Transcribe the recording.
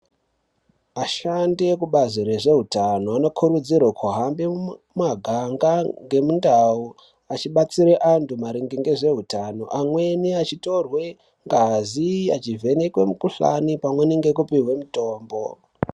Ashandi ekubazi rezveutano anokurudzirwe kuhambe mumaganga nemundau achibatsira antu maringe ngezveutano, amweni achitorwe ngazi, achivhenekwe mikhuhlani pamwe nekupihwe mitombo.